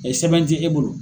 sɛbɛn ti e bolo.